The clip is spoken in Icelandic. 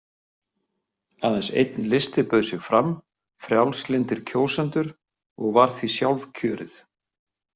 Aðeins einn listi bauð sig fram, Frjálslyndir kjósendur, og var því sjálfkjörið.